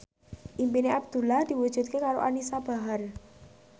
impine Abdullah diwujudke karo Anisa Bahar